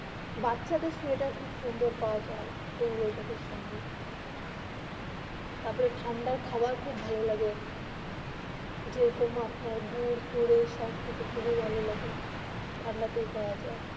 বাচ্চা দের সোয়েটার. খুব সুন্দর পৰা যায় এই, ওয়েদার. ঠাণ্ডা কাবার খুব ভালো লাগে যেই রকম আপনার গুড় ফার এই সব খেতে খুব ভালো লাগে ঠান্ডাতে পাওবা যায়